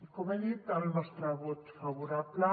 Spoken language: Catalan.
com he dit el nostre vot favorable